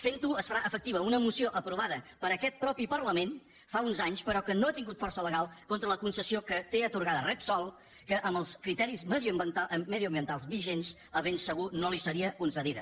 fent ho es farà efectiva una moció aprovada per aquest mateix parlament fa uns anys però que no ha tingut força legal contra la concessió que té atorgada repsol que amb els criteris mediambientals vigents ben segur que no li seria concedida